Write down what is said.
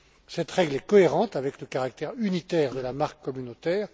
Cette règle est cohérente avec le caractère unitaire de la marque communautaire.